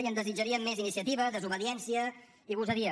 i en desitjaríem més iniciativa desobediència i gosadia